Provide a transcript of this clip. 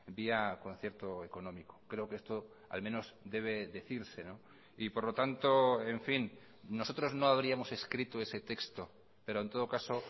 vía concierto económico creo que esto al menos debe decirse y por lo tanto en fin nosotros no habríamos escrito ese texto pero en todo caso